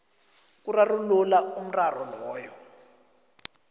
kurarulula umraro loyo